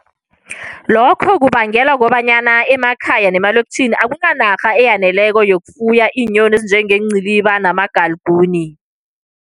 Lokho kubangelwa kukobanyana emakhaya nemalokitjhini akunanarha eyaneleko yokufuya iinyoni ezinjengeenciliba namagalikuni.